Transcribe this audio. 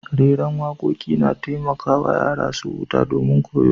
Reran wakoki na taimaka yara su huta da kuma koyo.